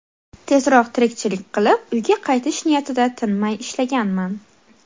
Tezroq tirikchilik qilib, uyga qaytish niyatida tinmay ishlaganman.